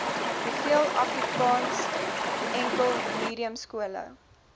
hoeveel afrikaansenkelmediumskole